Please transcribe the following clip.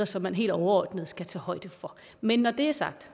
som man helt overordnet skal tage højde for men når det er sagt